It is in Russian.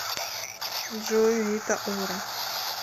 джой рита ора